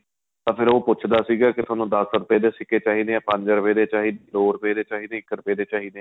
ਤਾਂ ਫ਼ੇਰ ਉਹ ਪੁੱਛਦਾ ਸੀਗਾ ਕੀ ਤੁਹਾਨੂੰ ਦੱਸ ਰੁਪਏ ਦੇ ਸਿੱਕੇ ਚਾਹੀਦੇ ਏ ਪੰਜ ਰੁਪਏ ਚਾਹੀਦੇ ਦੋ ਰੁਪਏ ਦੇ ਚਾਹੀਦੇ ਏ ਇੱਕ ਰੁਪਏ ਚਾਹੀਦੇ ਏ